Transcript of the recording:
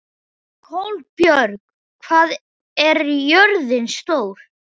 Kolbjörg, hvað er jörðin stór?